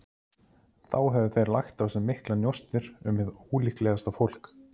Þó höfðu þeir lagt á sig miklar njósnir um hið ólíklegasta fólk.